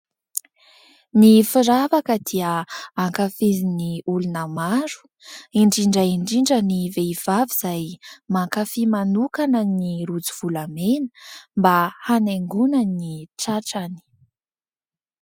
Ny firavaka dia ankafizin' ny olona maro. Indrindra indrindra ny vehivavy izay mankafia manokana ny rojo volamena mba hanaingona ny tratrany.